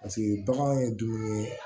Paseke bagan ye dumuni ye